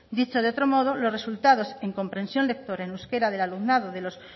dicho de otro modo los resultados en comprensión lectora en euskera del alumnado de los